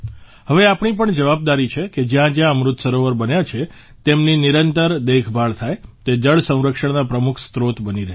હવે આપણી પણ જવાબદારી છે કે જ્યાંજ્યાં અમૃત સરોવર બન્યાં છે તેમની નિરંતર દેખભાળ થાય તે જળસંરક્ષણના પ્રમુખ સ્ત્રોત બની રહે